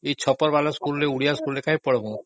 ସେ ଛପର ସ୍କୁଲରେ ଓଡ଼ିଆ ସ୍କୁଲରେକାଇଁ ପଢ଼ିବୁ